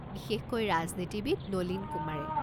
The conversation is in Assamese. বিশেষকৈ ৰাজনীতিবিদ নলীন কুমাৰে।